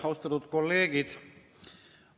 Austatud kolleegid!